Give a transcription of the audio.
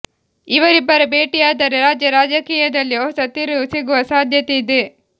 ಇವರಿಬ್ಬರ ಭೇಟಿಯಾದರೆ ರಾಜ್ಯ ರಾಜಕೀಯದಲ್ಲಿ ಹೊಸ ತಿರುವು ಸಿಗುವ ಸಾಧ್ಯತೆ ಇದೆ